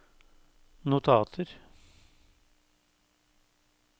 notater